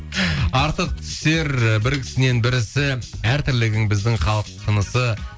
артық түсер ы бір ісінен бір ісі әр тірлігің біздің халық тынысы